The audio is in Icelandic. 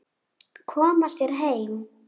Koma sér heim.